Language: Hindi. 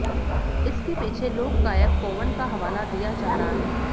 इसके पीछे लोकगायक कोवन का हवाला दिया जा रहा है